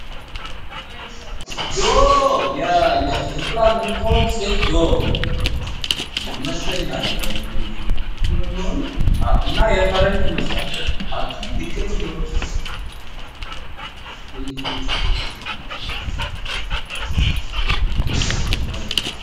ዶሮ የእንቁላል ምቶን ሴት ዶሮ ይመስለኛል እንግዲህ እና የፈረንጅ ይመስላል አክችሊ ድቅልም ሊሆን ይችላል፤ በኢንኩቤተር ዶሮ ይባላል።